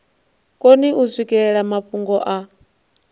koni u swikelela mafhungo a